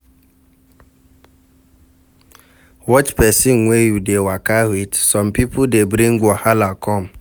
Watch person wey you dey waka with, some pipo dey bring wahala come